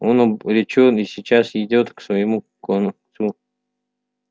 он обречён и сейчас идёт к своему концу